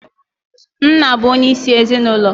Nna bụ onye isi ezinaụlọ